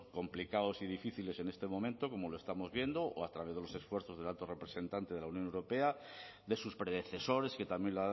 complicados y difíciles en este momento como lo estamos viendo o a través de los esfuerzos del alto representante de la unión europea de sus predecesores que también